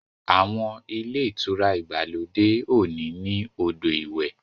Àwọn Ilé-ìtura ìgbàlódé òní ní odo ìwé.